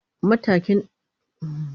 matashin daya gaji arziki anakiransa da "leveret"